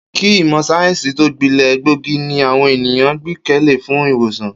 Kí ìmò̩ sáyé̩ǹsì tó gbile̩, egbòogi ni àwo̩n ènìyàn gbé̩kè̩lé fún ì̀wòsàn